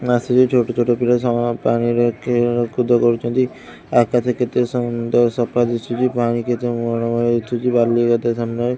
ମୁଁ ଆସିବି ଛୋଟ-ଛୋଟ ପିଲା ସମ ପାଣିରେ ଖେଳ କୁଦ କରୁଚନ୍ତି ଆକାଶ କେତେ ସୁନ୍ଦର ସଫା ଦିଶୁଚି ପାଣି କେତେ ମନରମ ଦିଶୁଛି ବାଲି କେତେ ସାମ୍ନାରେ --